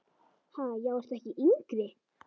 Ha, já ertu ekki yngri!